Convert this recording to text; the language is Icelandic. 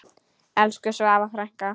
Elsku Svava frænka.